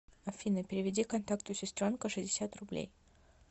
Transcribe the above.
афина переведи контакту сестренка шестьдесят рублей